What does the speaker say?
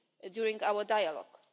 during our dialogue.